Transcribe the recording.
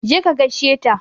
Je ka gaishe ta!